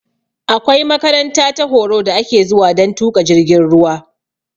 Akwai makaranta ta horo da ake zuwa dan tuƙa jirgin ruwa